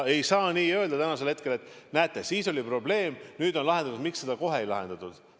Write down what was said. Ei saa täna öelda, et näete, siis oli probleem, nüüd on see lahendatud, et miks seda kohe ei lahendatud.